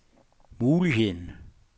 muligheden